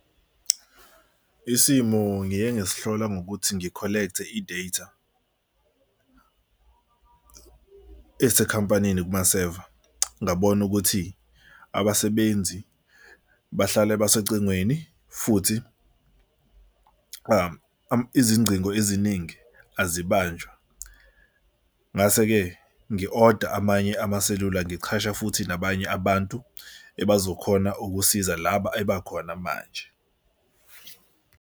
Isimo ngiye ngasihlola ngokuthi ngi-collect-e i-data esekhampanini kumaseva. Ngabona ukuthi abasebenzi bahlale basecingweni futhi izingcingo eziningi azibanjwa. Ngase-ke ngi-oda amanye amaselula, ngichashe futhi nabanye abantu ebazokhona ukusiza laba ebakhona manje.